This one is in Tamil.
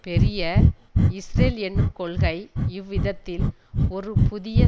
பெரிய இஸ்ரேல் என்னும் கொள்கை இவ்விதத்தில் ஒரு புதிய